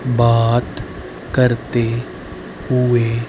बात करते हुए--